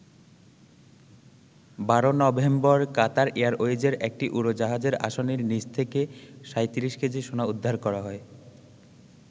১২ November Qatar এয়ারওয়েজের একটি উড়োজাহাজের আসনের নিচ থেকে ৩৭ কেজি সোনা উদ্ধার করা হয়।